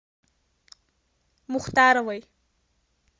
мухтаровой